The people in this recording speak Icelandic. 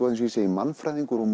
mannfræðingur og